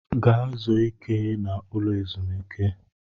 Gaa zuo ike n'ụlọ ezumiike!